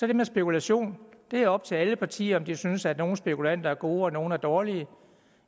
det med spekulation det er op til alle partier om de synes at nogle spekulanter er gode og nogle er dårlige